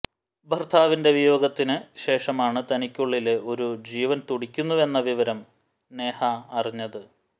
ഭര്ത്താവിന്റെ വിയോഗത്തിന് ശേഷമാണ് തനിക്കുള്ളില് ഒരു ജീവന് തുടിക്കുന്നുവെന്ന വിവരം നേഹ അറിഞ്ഞത്